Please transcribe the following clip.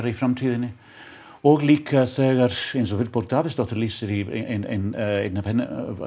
í framtíðinni og líka eins og Vilborg Davíðsdóttir lýsir í einni